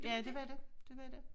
Ja dét var det dét var det